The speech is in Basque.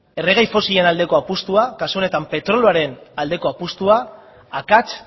erregai fosilen aldeko apustua kasu honetan petrolioaren aldeko apustua akats